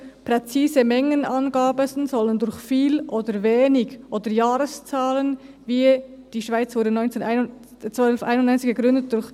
«Präzise Mengenangaben sollen durch ‹viel› oder ‹wenig› oder Jahreszahlen wie ‹Die Schweiz wurde 1291 gegründet› durch